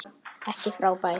Ekki frábær.